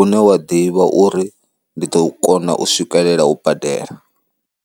une wa ḓivha uri ndi ḓo kona u swikelela u badela.